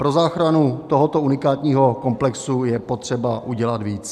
Pro záchranu tohoto unikátního komplexu je potřeba udělat více.